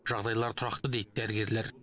жағдайлары тұрақты дейді дәрігерлер